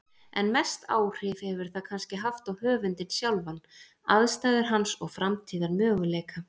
En mest áhrif hefur það kannski haft á höfundinn sjálfan, aðstæður hans og framtíðarmöguleika.